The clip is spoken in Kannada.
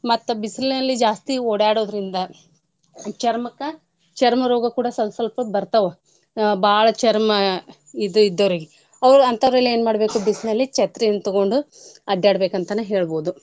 ಮತ್ತ ಬಿಸಲ್ನಲ್ಲಿ ಜಾಸ್ತಿ ಓಡ್ಯಾಡೋದ್ರಿಂದ ಚರ್ಮಕ್ಕ ಚರ್ಮರೋಗ ಕೂಡ ಸ್ವಲ್ಪ ಸ್ವಲ್ಪ ಬರ್ತಾವೂ ಅ ಬಾಳ ಚರ್ಮ ಇದ ಇದ್ದೋರ್ಗೆ ಅವ್ರ ಅಂತೊರೆಲ್ಲಾ ಏನ್ ಮಾಡ್ಬೇಕು ಬಿಸ್ಲಲ್ಲೀ ಛತ್ರಿಯನ್ನ ತಗೊಂಡು ಅಡ್ಯಾಡ್ಬೇಕ್ ಅಂತನ ಹೇಳ್ಬೋದು.